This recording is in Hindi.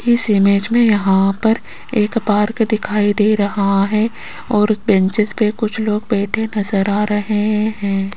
इस इमेज में यहां पर एक पार्क दिखाई दे रहा है और बेंचेज पे कुछ लोग बैठे नजर आ रहे हैं।